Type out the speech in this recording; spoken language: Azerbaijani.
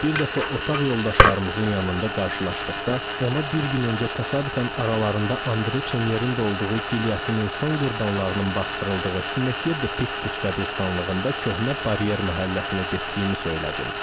Bir dəfə otaq yoldaşlarımızın yanında qarşılaşdıqda ona bir gün öncə təsadüfən aralarında Andre Çenyerin də olduğu gilyotinin son qurbanlarının basdırıldığı Simetiya De Pik Pus qəbiristanlığında köhnə baryer məhəlləsinə getdiyimi söylədim.